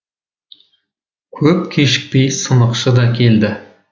көп кешікпей сынықшы да келеді